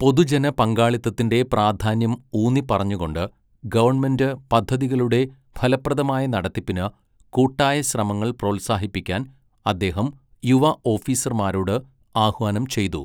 പൊതുജന പങ്കാളിത്തത്തിന്റെ പ്രാധാന്യം ഊന്നിപ്പറഞ്ഞുകൊണ്ട് ഗവണ്മെന്റ് പദ്ധതികളുടെ ഫലപ്രദമായ നടത്തിപ്പിന് കൂട്ടായ ശ്രമങ്ങൾ പ്രോത്സാഹിപ്പിക്കാൻ അദ്ദേഹം യുവ ഓഫീസർമാരോട് ആഹ്വാനം ചെയ്തു.